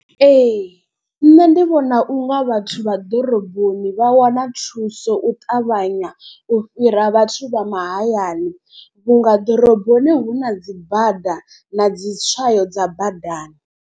Ee nṋe ndi vhona unga vhathu vha ḓoroboni vha wana thuso u ṱavhanya. U fhira vhathu vha mahayani vhunga ḓoroboni hu na dzi bada na dzi tswayo dza badani.